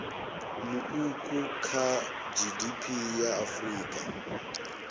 muuku kha gdp ya afrika